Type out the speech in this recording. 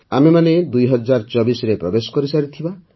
ଆମ୍ଭେମାନେ ୨୦୨୪ରେ ପ୍ରବେଶ କରିସାରିଥିବା